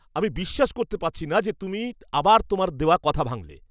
আমি বিশ্বাস করতে পারছি না যে তুমি আবার তোমার দেওয়া কথা ভাঙলে!